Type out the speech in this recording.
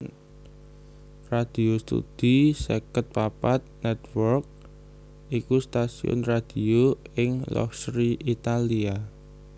Radio Studio seket papat Network iku stasiun radio ing Locri Italia